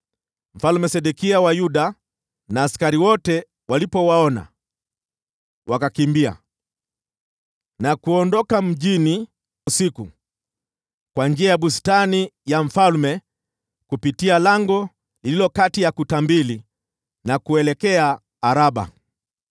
Mfalme Sedekia wa Yuda na askari wote walipowaona, wakakimbia na kuondoka mjini usiku kwa njia ya bustani ya mfalme, kupitia lango lililokuwa kati ya kuta mbili, wakaelekea Araba.